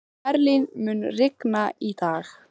Merlin, mun rigna í dag?